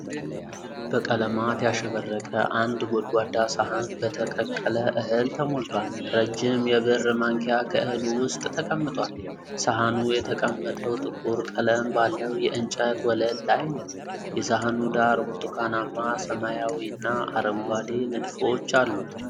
በቀለማት ያሸበረቀ አንድ ጎድጓዳ ሳህን በተቀቀለ እህል ተሞልቷል፡። ረጅም የብር ማንኪያ ከእህሉ ውስጥ ተቀምጧል፡። ሳህኑ የተቀመጠው ጥቁር ቀለም ባለው የእንጨት ወለል ላይ ነው፡። የሳህኑ ዳር ብርቱካናማ፣ ሰማያዊና አረንጓዴ ንድፎች አሉት።